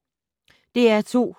DR2